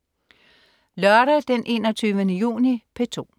Lørdag den 21. juni - P2: